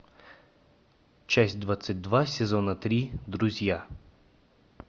часть двадцать два сезона три друзья